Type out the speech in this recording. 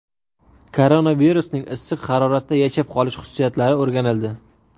Koronavirusning issiq haroratda yashab qolish xususiyatlari o‘rganildi.